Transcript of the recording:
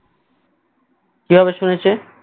কি ভাবে শুনেছে